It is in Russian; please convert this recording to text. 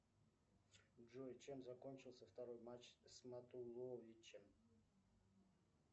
джой чем закончился второй матч с матуловичем